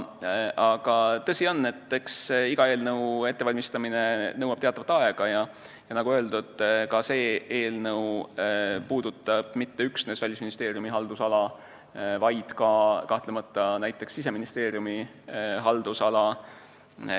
Aga tõsi on, et iga eelnõu ettevalmistamine nõuab aega, ja nagu öeldud, see eelnõu ei puuduta üksnes Välisministeeriumi haldusala, vaid kahtlemata ka näiteks Siseministeeriumi haldusala.